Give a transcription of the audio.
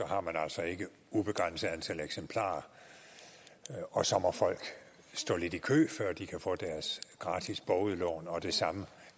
har man altså ikke et ubegrænset antal eksemplarer og så må folk stå lidt i kø før de kan få deres gratis bogudlån og det samme